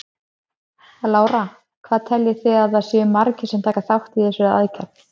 Lára: Hvað teljið þið að það séu margir sem taka þátt í þessari aðgerð?